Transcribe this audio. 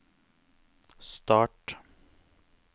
start